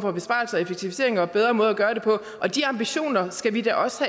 for besparelser og effektiviseringer og bedre måder at gøre det på og de ambitioner skal vi da også